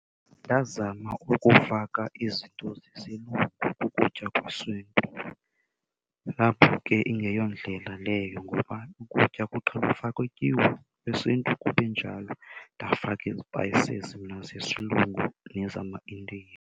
Ndazama ukufaka izinto zesilungu kukutya kwesiNtu, apho ke ingeyo ndlela leyo. Ngoba ukutya kuqhelwe ufakwa ityiwa yesiNtu kube njalo, ndafaka izipayisizi mna zesilungu nezamaIndiya.